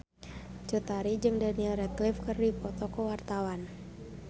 Cut Tari jeung Daniel Radcliffe keur dipoto ku wartawan